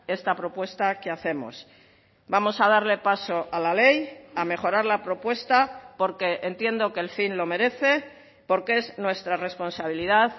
esta propuesta que hacemos vamos a darle paso a la ley a mejorar la propuesta porque entiendo que el fin lo merece porque es nuestra responsabilidad